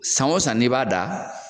San o san n'i b'a dan